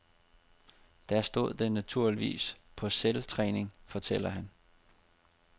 Der stod den naturligvis på selvtræning, fortæller han.